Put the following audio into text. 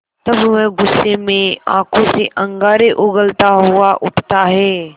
तब वह गुस्से में आँखों से अंगारे उगलता हुआ उठता है